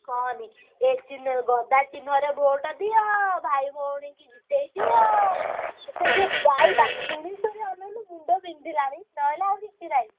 କହନି ଏ~ ଚିହ୍ନ ଗଦା ଚିହ୍ନ ରେ vote ଦିଅ ଭାଇ ଭଉଣୀ ଙ୍କୁ ଜିତେଇଦିଅ ସେଇ ଯୋଉ ଗାଇବା ଶୁଣି ଶୁଣି ଅନେଇଲୁ ମୁଣ୍ଡ ବିନ୍ଧିଲାଣି ନହେଲେ ଆଉ କିଛି ନାହିଁ।